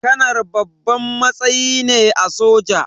Kanar babban matsayi ne a soja